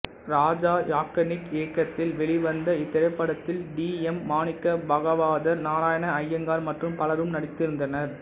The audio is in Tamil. ராஜா யாக்னிக் இயக்கத்தில் வெளிவந்த இத்திரைப்படத்தில் டி எம் மாணிக்க பாகவதர் நாராயண ஐயங்கார் மற்றும் பலரும் நடித்திருந்தனர்